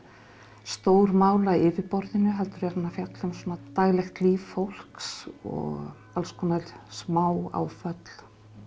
stór mál á yfirborðinu heldur er hann að fjalla um daglegt líf fólks og alls konar smá áföll